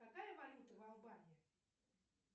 какая валюта в албании